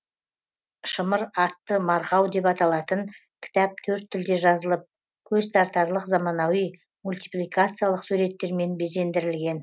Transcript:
шымыр атты марғау деп аталатын кітап төрт тілде жазылып көзтартарлық заманауи мультипликациялық суреттермен безендірілген